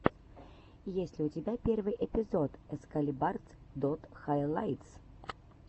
есть ли у тебя первый эпизод экскалибарс дот хайлайтс